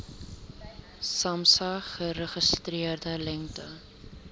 samsa geregistreerde lengte